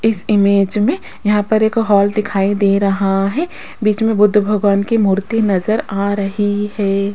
इस इमेज मे यहां पर एक हॉल दिखाई दे रहा है बीच मे बुद्ध भगवान की मूर्ति नजर आ रही है।